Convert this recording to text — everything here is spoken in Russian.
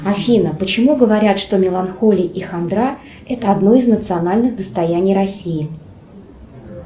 афина почему говорят что меланхолия и хандра это одно из национальных достояний россии